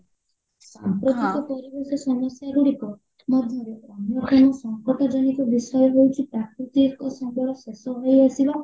ପ୍ରକୃତ ପରିବେଶ ସମସ୍ୟା ଗୁଡିକ ମଧ୍ୟରେ ସଙ୍କଟ ଜନକ ବିଷୟ ହଉଚି ପ୍ରକୃତିକ ସମ୍ବଳ ଶେଷ ହୋଇଆସିବା